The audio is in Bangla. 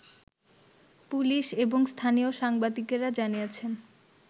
পুলিশ এবং স্থানীয় সাংবাদিকরা জানিয়েছেন